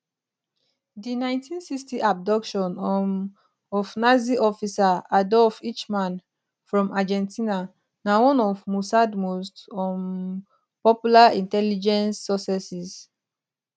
di 1960 abduction um of nazi officer adolf eichmann from argentina na one of mossad most um popular intelligence successes